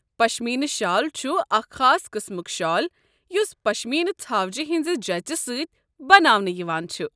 پشمیٖنہٕ شال چھُ اکھ خاص قٕسمُک شال یُس پشمیٖنہٕ ژھاوجہِ ہٕنٛزِ جٔژ سٕتۍ بناونہٕ یوان چھُ ۔